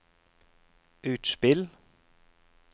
utspill